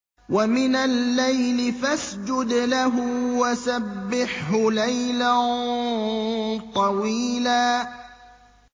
وَمِنَ اللَّيْلِ فَاسْجُدْ لَهُ وَسَبِّحْهُ لَيْلًا طَوِيلًا